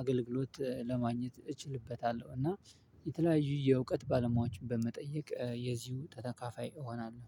አገልግሎት ለማግኘት እችልበታለሁ። እና የተለያዩ የእውቀት ባለሙያዎችን በመጠየቅ የዚሁ ተተካፋይ እሆናለሁ